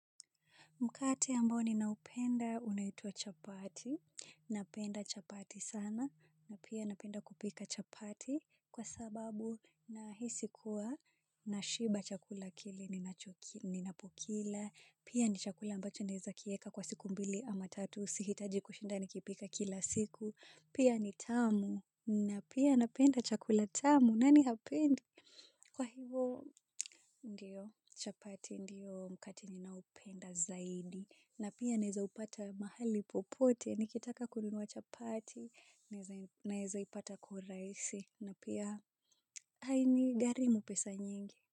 Mkate ambao ninaupenda unaitwa chapati, napenda chapati sana, na pia napenda kupika chapati kwa sababu nahisi kuwa na shiba chakula kile ninacho kila. Ninapokila, pia ni chakula ambacho neza kieka kwa siku mbili ama tatu, sihitaji kushinda nikipika kila siku, pia ni tamu, na pia napenda chakula tamu, nani hapendi? Kwa hivyo ndiyo chapati ndiyo mkate naupenda zaidi na pia naweza upata mahali popote nikitaka kununua chapati naeza ipata kwa urahisi na pia hainigharimu pesa nyingi.